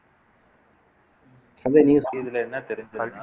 அந்த news செய்தில என்ன தெரிஞ்சுதுன்னா